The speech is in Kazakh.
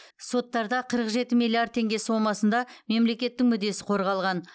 соттарда қырық жеті миллиард теңге сомасында мемлекеттің мүддесі қорғалған